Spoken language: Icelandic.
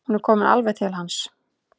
Hún er komin alveg til hans.